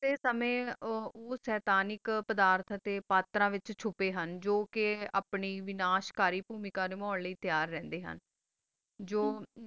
ਤਾ ਆਸ ਸਮਾਂ ਓਹੋ ਮਾਸ੍ਤਾਨਕ ਪ੍ਰਦਾਨ ਵਿਤਚ ਚੋਪਾ ਹਨ ਵਾਨਿਸ਼ ਕਰੀ ਕਾਮ ਹੋਣ ਲੀ ਟਾਯਰ ਰਹੰਦਾ ਹਨ